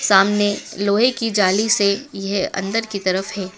सामने लोहे की जाली से यह अंदर की तरफ है।